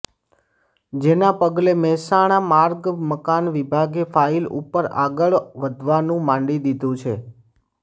જેના પગલે મહેસાણા માર્ગ મકાન વિભાગે ફાઇલ ઉપર આગળ વધવાનું માંડી દીધુ છે